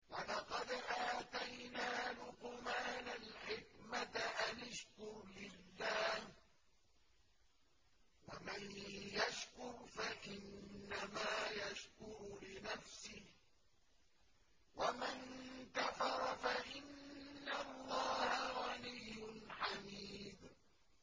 وَلَقَدْ آتَيْنَا لُقْمَانَ الْحِكْمَةَ أَنِ اشْكُرْ لِلَّهِ ۚ وَمَن يَشْكُرْ فَإِنَّمَا يَشْكُرُ لِنَفْسِهِ ۖ وَمَن كَفَرَ فَإِنَّ اللَّهَ غَنِيٌّ حَمِيدٌ